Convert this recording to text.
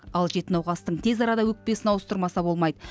ал жеті науқастың тез арада өкпесін ауыстырмаса болмайды